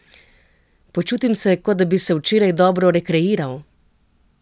Počutim se, kot da bi se včeraj dobro rekreiral.